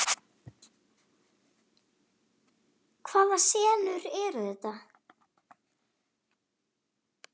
Hvaða senur eru þetta?